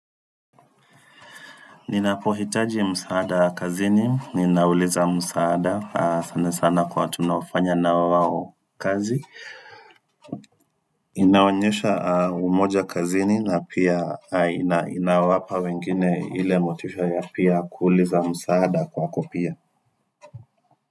Ninapohitaji msaada ya kazini, ninauliza msaada sana sana kwa tunaofanya na wao kazi inaonyesha umoja kazini na pia inawapa wengine ile motisha ya pia kuuliza msaada kwako pia.